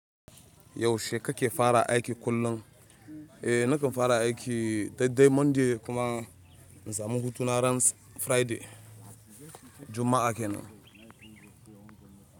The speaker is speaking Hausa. Yaushe kake fara aiki kullum? Eh nakan fara duk dqi monday kuma nasamu hutuna ran friday Juma'a kenan.